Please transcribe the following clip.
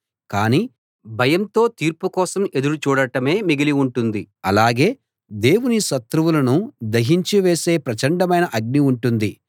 కానీ భయంతో తీర్పు కోసం ఎదురు చూడటమే మిగిలి ఉంటుంది అలాగే దేవుని శత్రువులను దహించి వేసే ప్రచండమైన అగ్ని ఉంటుంది